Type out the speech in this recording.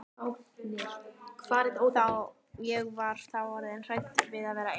Ég var þá orðin svo hrædd við að vera ein.